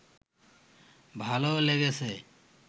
ভালো লেগেছে